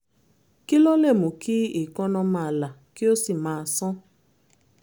kí ló lè mú kí èékánná máa là kí ó sì máa sán?